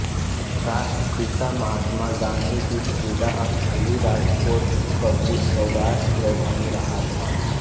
राष्ट्रपिता महात्मा गाँधी की क्रीड़ास्थली राजकोट कभी सौराष्ट्र की राजधानी रहा था